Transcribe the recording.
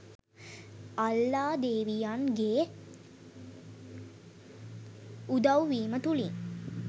අල්ලා ‍දෙවියන් ගේ උදව්වීම තුලින්